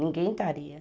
Ninguém